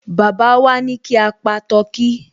Baba wá ní kí a pa tọkí